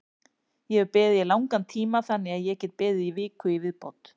Ég hef beðið í langan tíma þannig að ég get beðið í viku í viðbót.